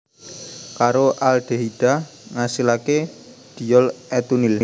Karo aldehida ngasilaké diol etunil